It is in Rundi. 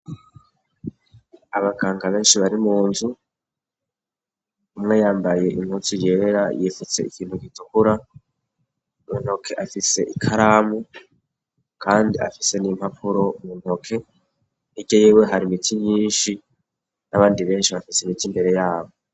Abakanka benshi bari mu nzu umwe yambaye inkutsu yera yifutse ikintu gitukura mu ntoke afise ikaramu, kandi afise n'impapuro mu ntoke i rye yiwe hari imiti nyinshi n'abandi benshi bafise imiti imbere yabo.